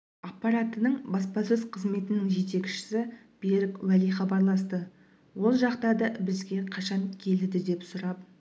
аппаратының баспасөз қызметінің жетекшісі берік уәли хабарласты ол жақта да бізге қашан келеді деп сұрап